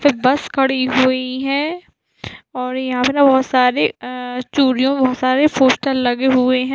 फिर बस खड़ी हुई है और यहाँ पे ना बहुत सारे बहुत सारे पोस्टर लगे हुए है